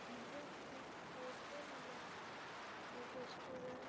यह एक होटल या रेस्टोरेंट --